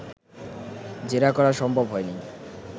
জেরা করা সম্ভব হয়নি